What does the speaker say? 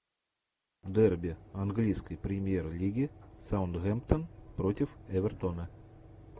дерби английской премьер лиги саутгемптон против эвертона